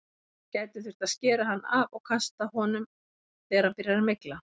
Það gæti þurft að skera hann af og kasta honum þegar hann byrjar að mygla.